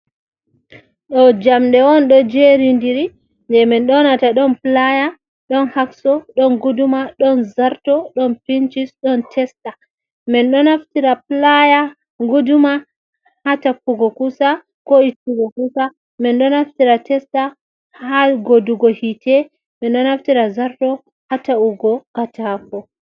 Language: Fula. Do jamde on ɗo jeridiri je min nyonata don playa, don hakso, ɗon guduma, don zarto, ɗon pincis, don testa man. Ɗo naftira playa guduma ha tafpugo kusa ko ittugo kusa man. Ɗo naftira testa ha godugo hite man, ɗo naftira zarto ha ta’ugo katako.